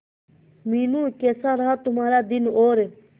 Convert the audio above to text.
मीनू कैसा रहा तुम्हारा दिन और